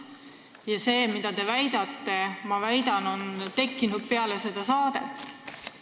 Ma väidan, et soov väita, mida te väitsite, tekkis teil peale seda saadet.